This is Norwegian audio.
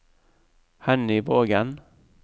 Henny Vågen